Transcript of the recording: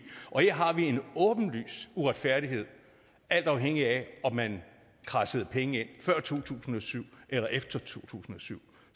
og her har vi en åbenlys uretfærdighed alt afhængig af om man kradsede penge ind før to tusind og syv eller efter to tusind og syv